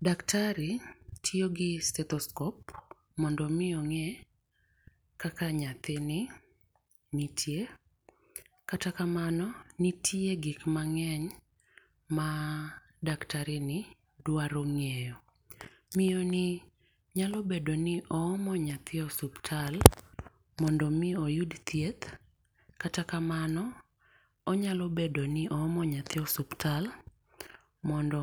Daktari tiyo gi stethoscope mondo mi onge kaka naythini nitie. Kata kamano nitie gik ma ngeny ma daktari ni dwaro ng'eyo. Miyo ni nyalo bedo ni oomo nyathi e osiptal mondo mi oyud thieth, kata kamano onyalo bedo ni oomo nyathi e osiptal mondo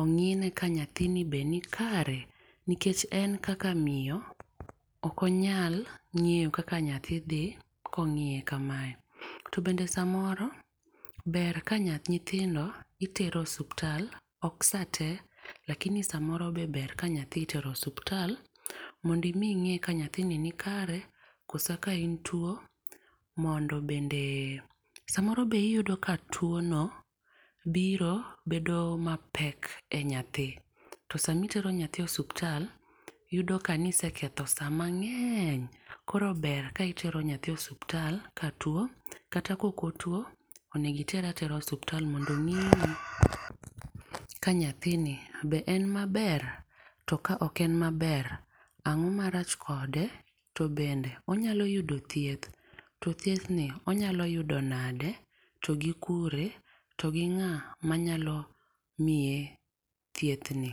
ong'i ne ka nyathini be ni kare nikech en kaka miyo ok onyal ngeyo kaka nyathi dhi ka ong'iye ka mae. To bende samoro ber ka naythi nyithindo itero osiptal ok saa te lakini saa moro be ber ka nyathi itero osiptal mondo mi inge ka nyathi ni kare koso ka en tuo mondo bende saa moro bi iyudo ka tuo no biro bedo matek ne nyathi to saa ma itero nyathi osiptal yudo ka ne iseketho saa mangeny koro ber ka itero nyathi osiptal ka tuo kata ka ok otuo. Onego nitere atera osiptal mondo ong'iye ni nyathi be en ma ber to ka ok en ma ber, ang'o marach kode? To bende onyalo yudo thieth? To thiedhni onyalo yuo nade? To gi kure? to gi ng'a ma nyalo miye thieth ni?